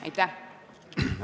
Aitäh!